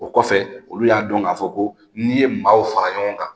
O kɔfɛ olu y'a dɔn, k'a fɔ ko n'i ye maa fara ɲɔgɔn kan